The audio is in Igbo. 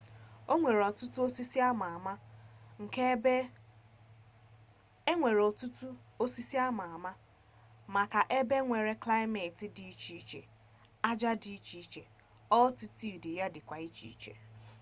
onwere otutu osisi ama ama maka ebea nwere klimeti di icheiche aja ya di iche iche altitude ya dikwa iche n'iche